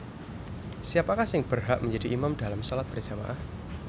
Siapakah sing berhak menjadi imam dalam shalat berjama ah